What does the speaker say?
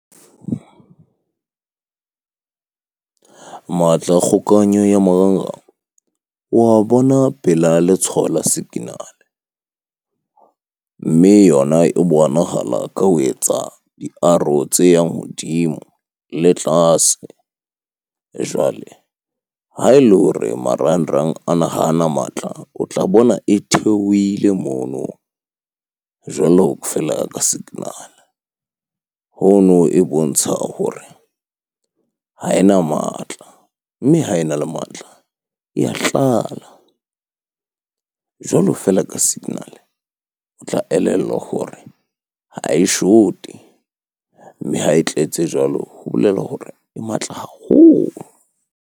Matla a kgokahanyo ya marangrang o wa bona pela letshwao la signal-e Mme yona e bonahala ka ho etsa di-arrow tse yang hodimo le tlase. Jwale ha ele hore marangrang ana hana matla, o tla bona e theohile mono jwalo feela ka signal-e. Hono e bontsha hore ha ena matla, mme ha ena le matla e ya tlala. Jwalo feela ka signal, o tla elellwa hore ha e short-e. Mme ha e tletse jwalo, ho bolela hore e matla haholo.